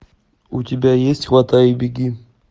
у тебя есть хватай и беги